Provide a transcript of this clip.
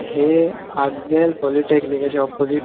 ह्ये आग्नेल पोलीटेकनिकाच्या अपोजिट -----